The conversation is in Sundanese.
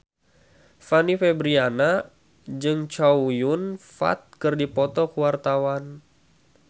Fanny Fabriana jeung Chow Yun Fat keur dipoto ku wartawan